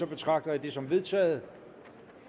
betragter jeg det som vedtaget